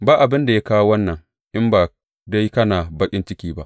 Ba abin da ya kawo wannan, in ba dai kana baƙin ciki ba.